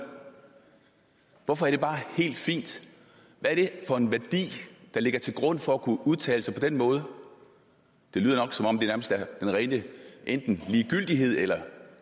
hvorfor er det bare helt fint hvad er det for en værdi der ligger til grund for at kunne udtale sig på den måde det lyder som om det er den rene enten ligegyldighed eller